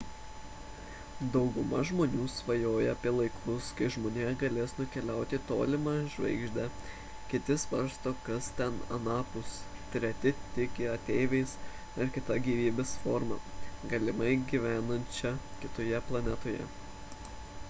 dauguma žmonių svajoja apie laikus kai žmonija galės nukeliauti į tolimą žvaigždę kiti svarsto kas ten anapus treti tiki ateiviais ar kita gyvybės forma galimai gyvenančia kitoje planetoje